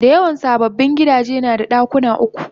Dayawan sababbin gidaje nada dakuna uku